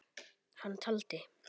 Hann taldi